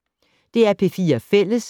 DR P4 Fælles